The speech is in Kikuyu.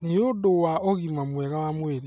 nĩ ũndũ wa ũgima mwega wa mwĩrĩ